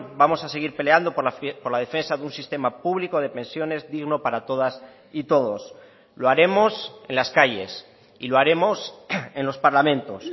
vamos a seguir peleando por la defensa de un sistema público de pensiones digno para todas y todos lo haremos en las calles y lo haremos en los parlamentos